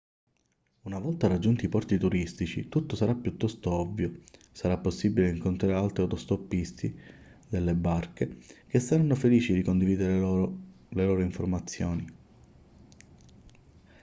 una volta raggiunti i porti turistici tutto sarà piuttosto ovvio sarà possibile incontrare altri autostoppisti delle barche che saranno felici di condividere le loro informazioni